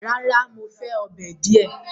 Rárá, Mo fẹ ọ́bẹ̀ diẹ